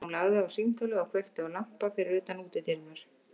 Hún lagði á símtólið og kveikti á lampa fyrir utan útidyrnar.